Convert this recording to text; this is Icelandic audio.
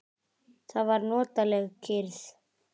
Það var notaleg kyrrð.